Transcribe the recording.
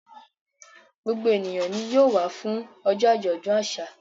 Gbogbo ènìyàn ni yóò wá fún ọjọ́ àjọ̀dún àṣà.